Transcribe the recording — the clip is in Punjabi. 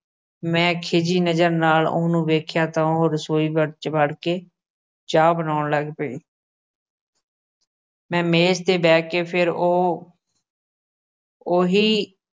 ਮੈ ਖੀਜ਼ੀ ਨਜ਼ਰ ਨਾਲ ਉਹਨੂੰ ਵੇਖਿਆ, ਤਾ ਉਹ ਰਸੋਈ ਵਿੱਚ ਵੜ ਕੇ ਚਾਹ ਬਨਾਉਣ ਲੱਗ ਪਈ ਮੈ ਮੇਜ ਤੇ ਬਹਿ ਕੇ ਫਿਰ ਉਹ ਓਹੀ